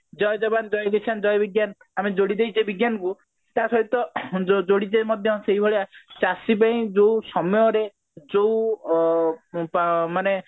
ଜୟ ଯବାନ ଜୟ କିଶାନ ଜୟ ବିଜ୍ଞାନ ଆମେ ଯୋଡି ଦେଇଛେ ବିଜ୍ଞାନ କୁ ତା ସହିତ ଯୋଡି ଦେଇ ମଧ୍ୟ ସେଇ ଭଳିଆ ଚାଷୀ ପାଇଁ ଯୋଉ ସମୟରେ ଯୋଉ ଅ ତ ମାନେ